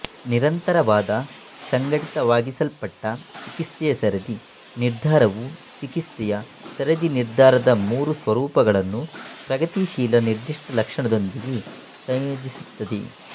ನಿರಂತರವಾದ ಸಂಘಟಿತವಾಗಿಸಲ್ಪಟ್ಟ ಚಿಕಿತ್ಸೆಯ ಸರದಿ ನಿರ್ಧಾರವು ಚಿಕಿತ್ಸೆಯ ಸರದಿ ನಿರ್ಧಾರದ ಮೂರು ಸ್ವರೂಪಗಳನ್ನು ಪ್ರಗತಿಶೀಲ ನಿರ್ದಿಷ್ಟ ಲಕ್ಷಣದೊಂದಿಗೆ ಸಂಯೋಜಿಸುತ್ತದೆ